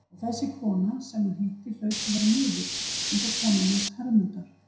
Og þessi kona sem hún hitti hlaut að vera miðill, eins og konan hans Hermundar.